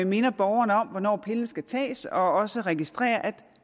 minder borgeren om hvornår pillen skal tages og som også registrerer at